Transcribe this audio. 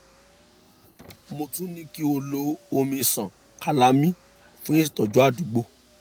mo tún ní kí o lo omi ṣàn calamine fún ìtọ́jú àdúgbò